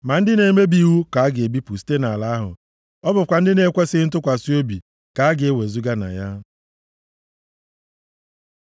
Ma ndị na-emebi iwu ka a ga-ebipụ site nʼala ahụ, ọ bụkwa ndị na-ekwesighị ntụkwasị obi ka a ga-ewezuga na ya.